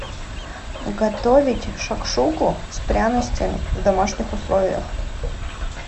готовить шакшуку с пряностями в домашних условиях